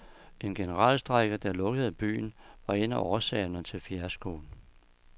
En generalstrejke, der lukkede byen, var en af årsagerne til fiaskoen.